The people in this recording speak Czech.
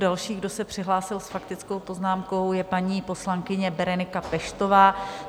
Další, kdo se přihlásil s faktickou poznámkou, je paní poslankyně Berenika Peštová.